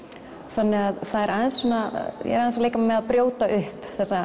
þannig að það er aðeins ég er aðeins að leika mér með að brjóta upp þessa